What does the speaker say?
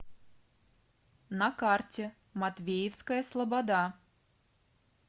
на карте матвеевская слобода